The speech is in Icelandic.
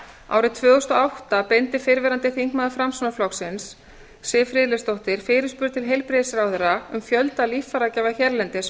árið tvö þúsund og átta beindi fyrrverandi formaður framsóknarflokksins siv friðleifsdóttir fyrirspurn til heilbrigðisráðherra um fjölda líffæragjafa hérlendis